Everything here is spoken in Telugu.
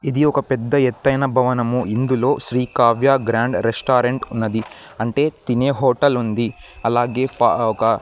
ఇది ఒక పెద్ద ఎత్తైన భవనము ఇందులో శ్రీ కావ్య గ్రాండ్ రెస్టారెంట్ ఉన్నది అంటే తినే హోటల్ ఉంది అలాగే పా ఒక--